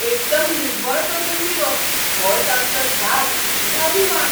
एकदम निव्वळ करून दिवप होच आमचो ध्यास आनी अभिमान.